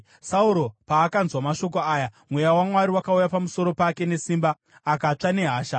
Sauro paakanzwa mashoko aya, mweya waMwari wakauya pamusoro pake nesimba, akatsva nehasha.